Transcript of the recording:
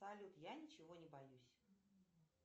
салют я ничего не боюсь